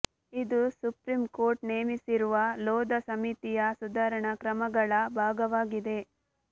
ಇದು supreme court ನೇಮಿಸಿರುವ ಲೋಧಾ ಸಮಿತಿಯ ಸುಧಾರಣಾ ಕ್ರಮಗಳ ಭಾಗವಾಗಿದೆ